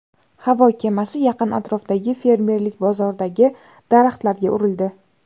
Havo kemasi yaqin atrofdagi fermerlik bozoridagi daraxtlarga urildi.